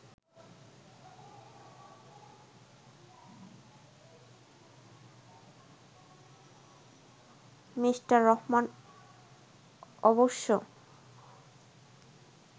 Mr Rahman অবশ্য